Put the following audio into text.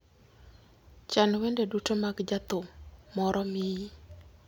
chan wende duto mag jathum moro miyi